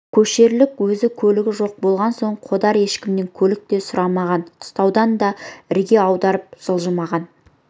көшерлік өз көлігі жоқ болған соң қодар ешкімнен көлік те сұрамаған қыстаудан да ірге аударып жылжымаған